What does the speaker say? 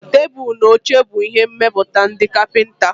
Tebụl na oche bụ ihe mmepụta ndị kapịnta.